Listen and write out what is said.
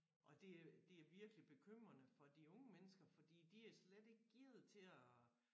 Og det øh det er virkelig bekymrende for de unge mennesker fordi de er slet ikke gearet til at